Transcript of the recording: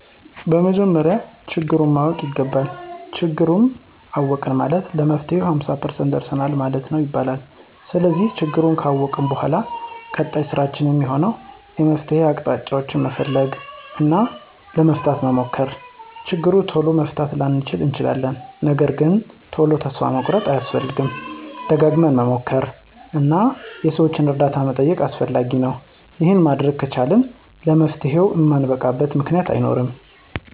በመጀመሪያ ችግሩን ማወቅ ይገባል። ችግሩን አወቅን ማለት ለመፍትሄው ሃምሳ ፐርሰንት ደርሰናል ማለት ነው ይባላል። ስለዚህ ችግሩን ካወቅን በኃላ ቀጣይ ስራችን እሚሆነው የመፍትሄ አቅጣጫ መፈለግ እና ለመፍታት መሞከር። ችግሩን ቶሎ መፍታት ላንችል እንችላለን ነገርግን ቶሎ ተስፋ መቁረጥ አያስፈልግም። ደጋግመን መሞከር እና የሠዎችን እርዳታ መጠየቅ አስፈላጊ ነው። ይሄን ማድረግ ከቻልን ለመፍትሄው እማንበቃበት ምክንያት አይኖርም።